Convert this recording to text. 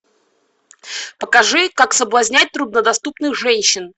покажи как соблазнять труднодоступных женщин